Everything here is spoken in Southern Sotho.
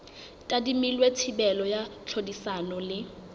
tadimilwe thibelo ya tlhodisano le